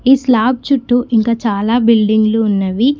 ఈ స్లాబ్ చుట్టూ ఇంకా చాలా బిల్డింగు లు ఉన్నవి.